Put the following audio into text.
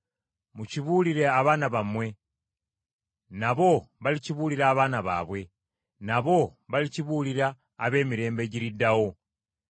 Mukibuulire abaana bammwe, nabo balikibuulira abaana baabwe, nabo balikibuulira ab’emirembe egiriddawo.